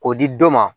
K'o di dɔ ma